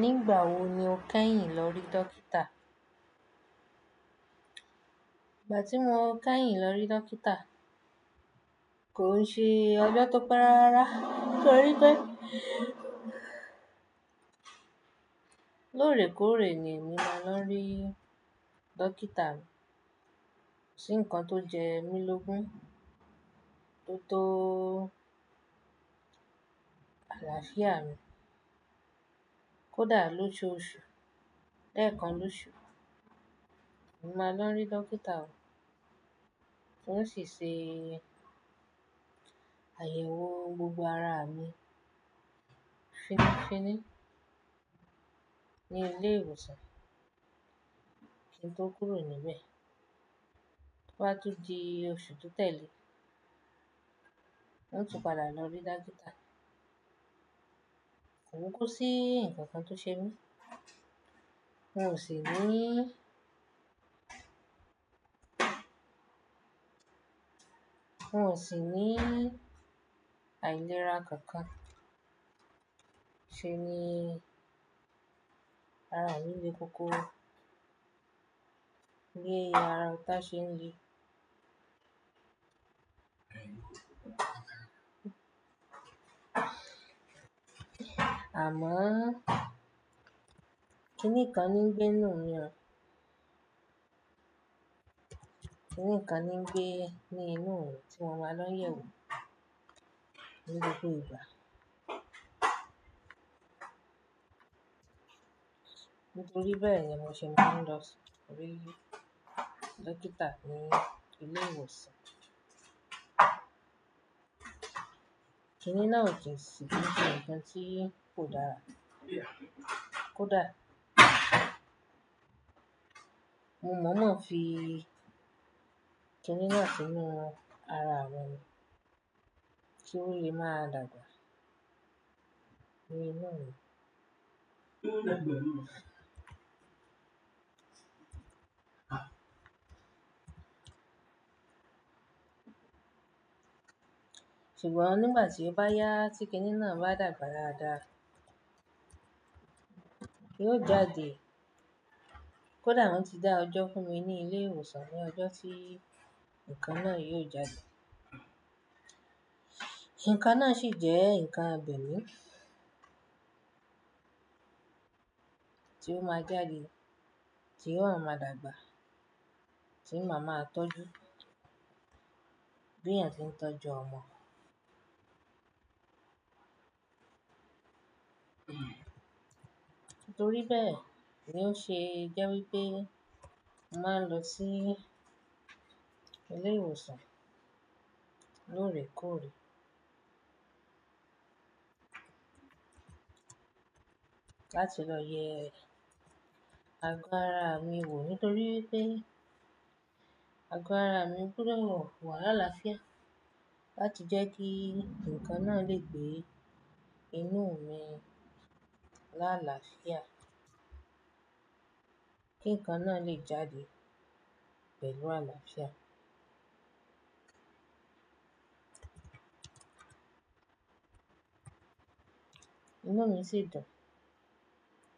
Nígbà wo ni o kẹ́yìn lórí dókítà? Ìgbà tí mo kẹ́yìn lórí dókítà kò ń ṣe ọjọ́ tó pé rárá. Nitori pe lórèkórè ni mo máa ń lọ rí dókítà. Kosí nǹkan tó ń jẹ mí lógun tótó àlàáfíà mi. Kódà lójoojú oṣù, lẹ̀kan lóṣù, mo máa ń lọ rí dókítà, ó ń sì ṣe àyẹ̀wò gbogbo ara mi fínni fínní ní ilé ìwòsàn kí n tó kúrò níbẹ̀. Toba á tún di oṣù tó tẹ̀lé, ó ń tún padà lọ rí dókítà. Ko ku ko sí nǹkan kan tó ṣe mí. Mo sì ní, n o sì ní àìlera kankan ṣe ni ara mi le koko bi ara ọ̀tá ṣe ń le Àmọ́, kí nìkan lo ń gbé inú mi o? Kí nìkan ní ń gbé ní inú mi tí mo máa ń lọ yewo ni gbogbo ìgbà? Nítorí bẹ́ẹ̀ ni mo ṣe máa ń lọ rí dókítà ní ilé ìwòsàn. Kí ni naa ò sí kin se nǹkan tí kò dára kódà mo mọ̀ fi kini náà sínú ara mi kí ó lè máa dàgbà nínú mi. Ṣùgbọ́n nígbà tí ó bá yá tí kẹ́nì náà bá dàgbà dáadáa, yóò jáde. Kódà wọ́n ti dá ọjọ́ fún mi ní ilé ìwòsàn pé ọjọ́ tí ǹkan náà yóò jáde. Ǹkan náà sì jẹ́ ǹkan abẹ̀mí tí ó máa jáde, tí ó wa máa dàgbà, tí màá n má tọ́jú bí èèyàn ń tọ́jú ọmọ. Nítorí bẹ́ẹ̀ ni ó ṣe jẹ́ wípé màá ń lọ sí ilé ìwòsàn lórèkórè láti lọ yẹ àgọ́ ara mi wò nítorí pé àgọ́ ara mi gbọdọ̀ wà láàlàáfíà láti jẹ́ kí ǹkan náà lè gbé inú mi láàlàáfíà kí ǹkan náà lè jáde pẹ̀lú àlàáfíà. Inú mi sì dùn